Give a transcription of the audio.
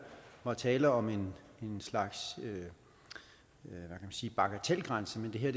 var tale om en slags bagatelgrænse men det her